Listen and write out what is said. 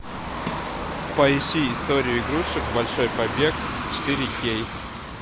поищи историю игрушек большой побег четыре кей